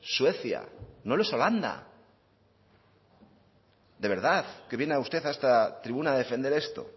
suecia no lo es holanda de verdad que viene usted a esta tribuna a defender esto